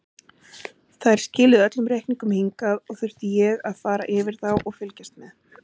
Þær skiluðu öllum reikningum hingað og þurfti ég að fara yfir þá og fylgjast með.